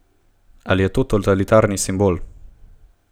Ali je to totalitarni simbol?